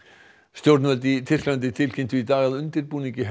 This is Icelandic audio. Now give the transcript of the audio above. stjórnvöld í Tyrklandi tilkynntu í dag að undirbúningi